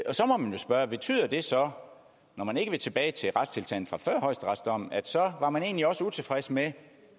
så må man jo spørge betyder det så når man ikke vil tilbage til retstilstanden fra før højesteretsdommen at så var man egentlig også utilfreds med